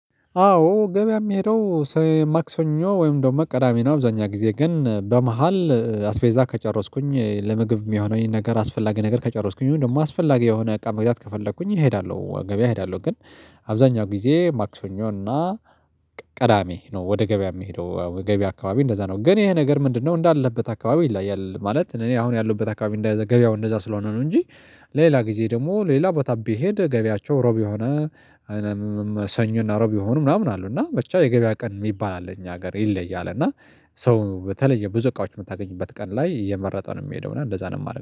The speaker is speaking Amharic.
አዎ ገበያ የምሄደው ማክሰኞ ወይም ደግሞ ቅዳሜ ነው። አብዛኛው ጊዜ ግን በመሃል አስፔዛ ከጨረስኩኝ ለምግብ የሚሆነኝነ ነገር አስፈላጊ ነገር ከጨረስኩኝ ወይም ደግሞ አስፈላጊ የሆነ እቃም ምግዛት ከፈለኩኝ እሄዳለሁ ገበያ እሄዳለሁ። ግን አብዛኛው ጊዜ ማክሰኞ እና ቀዳሜ ነው። ወደ ገበያ የሚሄደው ገበያ አካባቢ እንደዛ ነው። ግን ይሄ ነገር ምንድነው እንዳለበት አካባቢ ይለያል። ማለት እኔ አሁን ያለሁበት አካባቢ ገበያው እንደዛ ስለሆነ ነው። እንጂ ሌላ ጊዜ ደግሞ ሌላ ቦታ ብትሄድ ገቢያቸው ሮብ የሆነ ሮብ ይሆን ምናምን አሉ እና ብቻ የገበያ ቀን የሚባል አለ። እኛ ሀገር ይለያል። እና ሰው በተለየ ብዙ እቃዎች የምታገኝበት ቀን ላይ እየመረጠ ነው የሚሄደው እና እንደዛ ነው የማደርገው